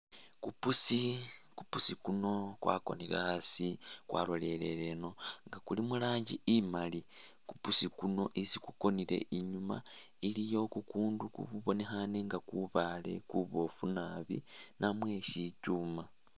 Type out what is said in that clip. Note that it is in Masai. Kupuusi, kupuusi kuno kwakonile asi kwaloleleleno nga kuli muranji imaali kupuusi kuno isi kukonile inyuma kukundu kubonekhane nga kubaale kubofu naabi namwe sitsuma